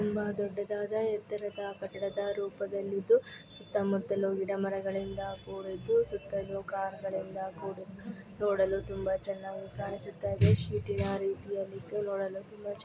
ತುಂಬಾ ದೊಡ್ಡದಾದ ಏತರದ್ ಕಟ್ಟಡದಲ್ಲಿ ರೂಪದಲ್ಲಿ ಇದು ಸುತ್ತ ಮುಟ್ಟಲು ಗಿಡ ಮರಗಳಿಂದ ಕೂಡಿದ್ದು ಸುತ್ತಲೂ ಕಾರ್ನೋ ಗಳಿಂದ ಕೂಡಿದ್ದುನೋ ಡಲು ತುಂಬಾ ಚೆನ್ನಾಗಿ ಕಾಣಿಸುತ್ತಿದೆ. ನೋಡಲು ತುಂಬಾ ಚೆನ್ನಾಗಿ --